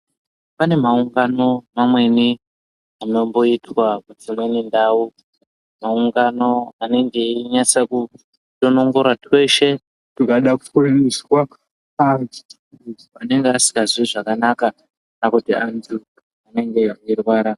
Pane maungano mamweni anomboitwa kudzimweni ndau. Maungano anenge einyatsokutonongora tweshe tungada kufundiswa antu anenge asingazwi zvakanaka kana kuti antu anenge eirwara.